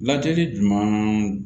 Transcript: Lajɛli jumɛn